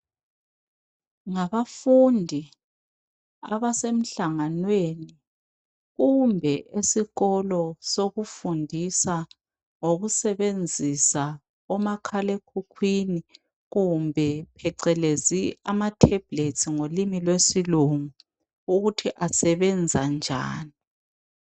Ngabafundi abasemhlanganweni kumbe esikolo sokufundisa ngokusebenzisa omakhale khukhwini kumbe phecelezi amathembukesti ngolimi lwesilungu, ukuthi asebenza njani.